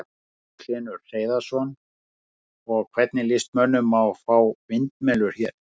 Magnús Hlynur Hreiðarsson: Og, hvernig lýst mönnum á að fá vindmyllur hér?